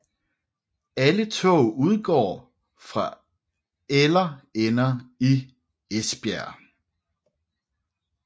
Alle tog udgår fra eller ender i Esbjerg